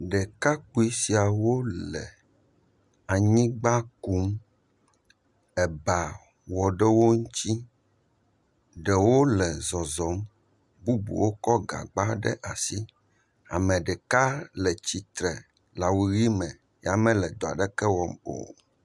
Ɖekakpuii siawo le anyigba kum, eba wɔ ɖe wo ŋuti, ɖewo le zɔzɔm, bubuwo kɔ gagba ɖe asi, ame ɖeka le tsitre le awu ʋi me ya mele dɔ aɖeke wɔm o.